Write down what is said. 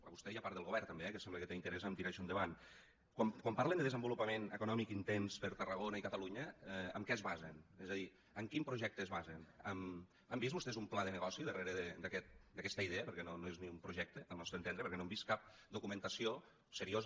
a vostè i a part del govern també eh que sembla que té interès a tirar això endavant quan parlen de desenvolupament econòmic intens per a tarragona i catalunya en què es basen és a dir en quin projecte es basen han vist vostès un pla de negoci darrere d’aquesta idea perquè no és ni un projecte al nostre entendre perquè no hem vist cap documentació seriosa